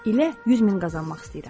İlə 100 min qazanmaq istəyirəm.